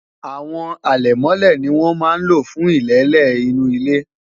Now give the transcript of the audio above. àwọn alemole ní wọn má ló fún ilele inú ile